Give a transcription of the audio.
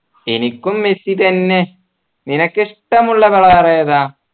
എനിക്കും മെസ്സി തന്നെ നിനക്കിഷ്ടമുള്ള colour ഏതാ